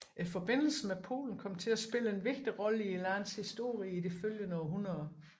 Forbindelsen med Polen kom til at spille en vigtig rolle i landets historie i de følgende århundreder